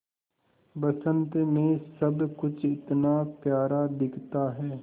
बसंत मे सब कुछ इतना प्यारा दिखता है